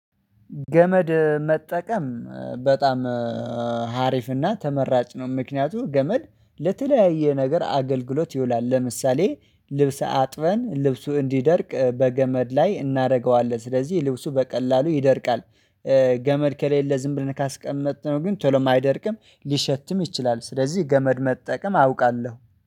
ገመድ መጠቀም በጣም ሀሪፍና ተመራጭ ነው። ምክንያቱም ገመድ ለተለያየ ነገር አገልግሎት ይውላል ለምሳሌ ልብስ አጥበን ልብሱ እንዲደርቅ በገመድ ላይ እናደርገዋለን ስለዚህ ልብሱ በቀላሉ ይደርቃል። ገመድ ከሌለ ዝም ብለን ካስቀመጥነው ግን ቶሎም አይደርቅም ሊሸትም ይችላል። ስለዚህ ገመድ መጠቀም አውቃለሁ